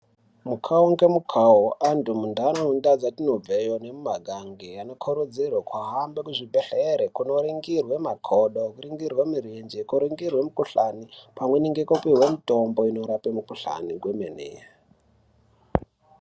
Mukhau ngemukhau ,antu muntaraunda dzatinobveyo nemumagange anokurudzirwe kuhambe kuzvibhedhlere kunoningirwe makodo, kuringirwe mirenje, kuringirwe mikhuhlani ,pamweni nekupihwe mitombo inorape mikhuhlani kwemene.